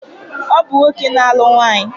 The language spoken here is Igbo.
Ọ bụ nwoke na-alụ nwaanyị